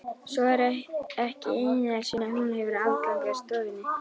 Svo að ekki einu sinni hún hefur aðgang að stofunni?